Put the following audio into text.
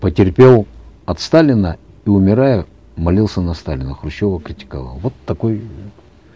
потерпел от сталина и умирая молился на сталина хрущева критиковал вот такой